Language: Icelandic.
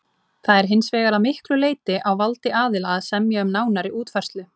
Það er hins vegar að miklu leyti á valdi aðila að semja um nánari útfærslu.